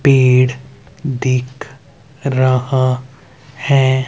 पेड़ दिख रहा है।